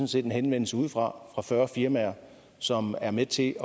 set en henvendelse ude fra fra større firmaer som er med til